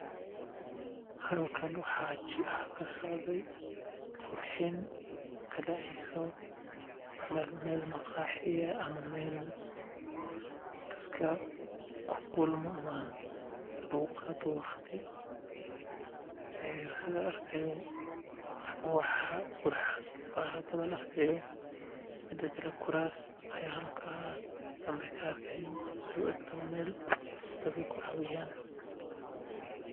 Halkan waxaa kasocde qurxin kadaceyso meel maqaaxi ah ama meel dadka ku kulmo oo laga qaato waqti kuraas ayaan halkaas danbe ku arki oo u eg tahay meel dadka ku caweyaan.